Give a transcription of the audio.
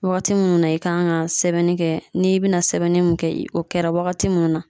Wagati munnu na i kan ka sɛbɛnni kɛ n'i bina sɛbɛnni mun kɛ o kɛra wagati munnu na